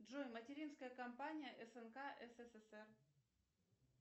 джой материнская компания снк ссср